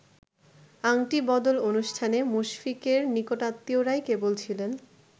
আংটি বদল অনুষ্ঠানে মুশফিকের নিকটাত্মীয়রাই কেবল ছিলেন।